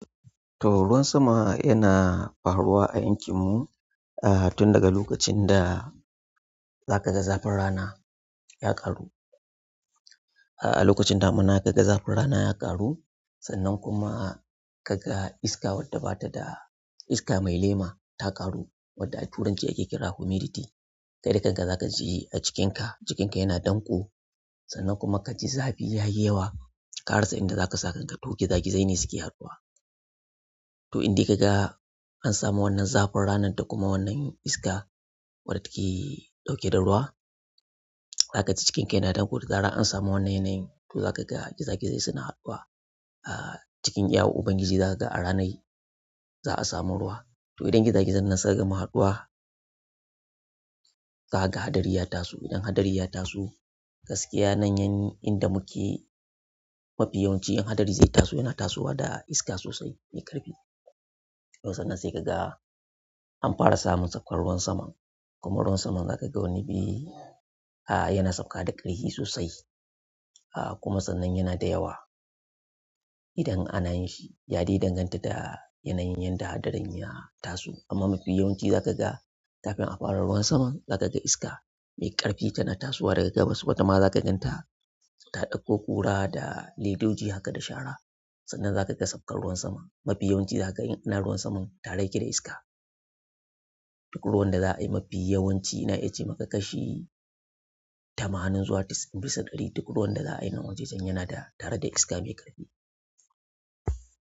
To ruwan sama yana faruwa a yankin mu, ah tun daga lokacin da za ka ga zafin rana ya ƙaru. Ah a lokacin damuna ka ga zafin rana ya ƙaru, sannan kuma ka ga iska wadda bata da iska mai lema ta ƙaru wadda a turanci ake kira "humidity", kai dakan ka zaka ji a cikinka, cikinka yana danƙo sannan kuma ka ji zafi ya yi yawa. Ƙarasa inda zaka sa kanka to gizagi zai ne suke haɗuwa. To in dai ka ga an samu wannan zafin ranar da kuma wannan iska wadda take ɗauke da ruwa, za ka ji cikinka yana danƙo da zaran an samu wannan yanayin to za ka ga gizagi zai suna haɗuwa. Eh cikin iyawar uban giji zakaga a ranar an samu ruwa to idan gizagi zai nan suka gama haɗuwa, za ka ga hadari ya taso. Idan haɗari ya taso, gaskiya nan yan inda muke mafi yawanci in haɗari zai taso yana tasowa da iska sosai mai ƙarfi. To sannan sai ka ga an fara samun saukar ruwan saman, kuma ruwan saman za ka ga wani biyu ah yana sauka da ƙarfi sosai. Ah kuma sannan yana da yawa idan ana yin shi. Ya dai danganta da yanayin yadda haɗarin ya taso. Amma mafi yawanci za ka ga kafin a fara ruwan sama, za ka ga iska mai ƙarfi tana tasowa daga gabas wata ma za ka ganta ta ɗauko ƙura da ledoji haka da shara. Sannan za ka ga sakar ruwan sama. Mafi yawanci za ka ga in ana ruwan saman tare yake da iska. Duk ruwan da za'a yi mafi yawanci ina iya ce maka kashi tamanin zuwa dis bisa ɗari. Duk ruwan da za'a yi nan wajajen yana tare da iska mai ƙarfi.